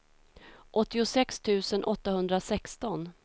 åttiosex tusen åttahundrasexton